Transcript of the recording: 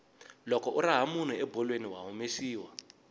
loko u raha munhu ebolweni wa humesiwa